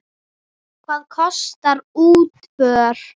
Hvað kostar útför?